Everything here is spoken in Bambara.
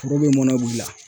Foro bɛ mɔnɛ bɔ i la